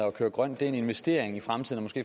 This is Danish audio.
at køre grønt er en investering i fremtiden